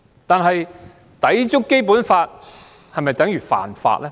但是，抵觸《基本法》是否等於犯法呢？